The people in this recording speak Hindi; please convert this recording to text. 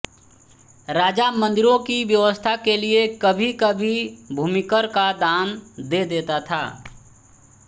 राजा मंदिरों की व्यवस्था के लिये कभी कभी भूमिकर का दान दे देता था